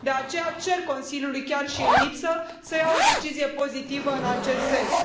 De aceea cer Consiliului, chiar și în lipsă, să ia o decizie pozitivă în acest sens.